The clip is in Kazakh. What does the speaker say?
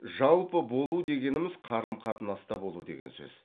жалпы болу дегеніміз қарым қатынаста болу деген сөз